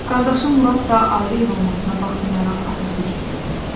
Qardaşı Murad da ayrı ev olmasına baxmayaraq atası gillə olurdu.